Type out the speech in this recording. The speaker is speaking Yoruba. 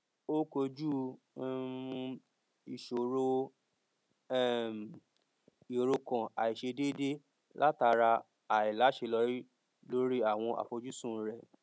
ó kojú um ìṣòro um ìrokàn àìṣe déédé látara àìláṣeyọrí lórí àwọn àfojùsùn rẹ